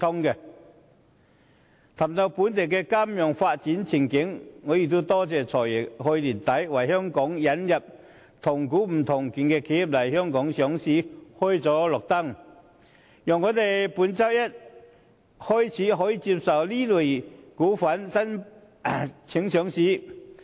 談到本地金融業的發展前景，我感謝"財爺"去年年底為香港引入"同股不同權"的企業來港上市開了綠燈，讓我們本周一起可接受這類企業的上市申請。